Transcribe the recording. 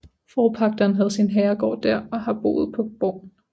Forpagteren havde sin herregård der og har boet på borgen